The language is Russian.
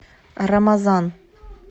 рамазан